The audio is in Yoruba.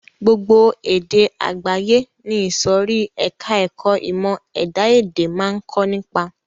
Gbogbo èdè àgbáyé ni ìsòrí ẹka ẹ̀kọ́ ìmọ̀ ẹ̀dá-èdè máa ń kọ́ nípa.